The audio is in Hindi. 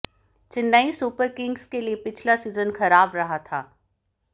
चेन्नई सुपर किंग्स के लिए पिछला सीजन खराब रहा था